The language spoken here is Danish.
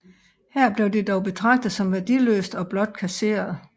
Her blev det dog betragtet som værdiløst og blot kasseret